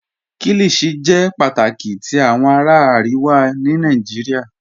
Kíllíshì jẹ́ pátákì tì awọn ará Àríwà ní Nàìjíríà